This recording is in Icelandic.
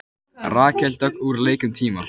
Rakel Dögg úr leik um tíma